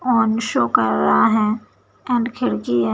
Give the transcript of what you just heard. Own show कर रहा है एंड खिड़की है।